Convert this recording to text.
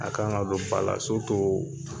A ka kan ka don ba la